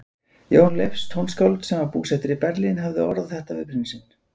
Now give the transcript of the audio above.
Jón Leifs tónskáld, sem var búsettur í Berlín, hafði orðað þetta við prinsinn